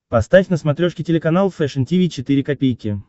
поставь на смотрешке телеканал фэшн ти ви четыре ка